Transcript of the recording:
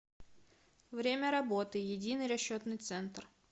время работы единый расчетный центр